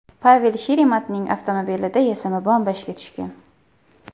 Pavel Sheremetning avtomobilida yasama bomba ishga tushgan.